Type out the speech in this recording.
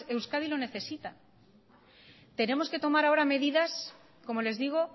euskadi lo necesita tenemos que tomar ahora medidas como les digo